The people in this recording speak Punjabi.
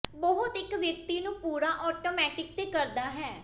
ਬਹੁਤ ਇੱਕ ਵਿਅਕਤੀ ਨੂੰ ਪੂਰਾ ਆਟੋਮੈਟਿਕ ਤੇ ਕਰਦਾ ਹੈ